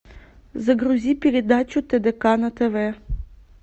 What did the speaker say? загрузи передачу тдк на тв